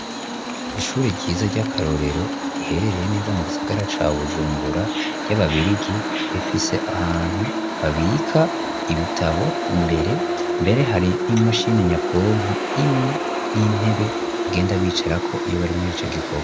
Ishuri ryiza ry'akarorero riherereye neza mu gisagara ca Bujumbura, ry'ababirigi, rifise ahantu babika ibitabo, ni imbere, mbere hari n'imashini nyabwonko imwe n'intebe bagenda bicarako iyo bari muri ico gikorwa.